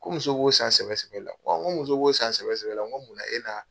Ko muso b'o san sɛbɛ sɛbɛ la . Nko ɔn ni muso b'o san sɛbɛ sɛbɛ la n ko munna e na